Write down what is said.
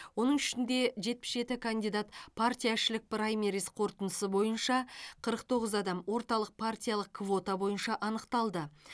оның ішінде жетпіс жеті кандидат партияішілік праймериз қорытындысы бойынша қырық тоғыз адам орталық партиялық квота бойынша анықталды